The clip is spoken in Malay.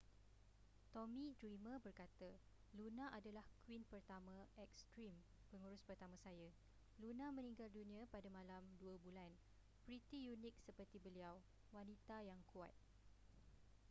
tommy dreamer berkata luna adalah queen pertama ekstrim pengurus pertama saya luna meninggal dunia pada malam dua bulan pretty unik seperti beliau wanita yang kuat